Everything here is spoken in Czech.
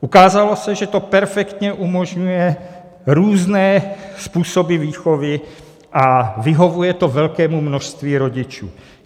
Ukázalo se, že to perfektně umožňuje různé způsoby výchovy a vyhovuje to velkému množství rodičů.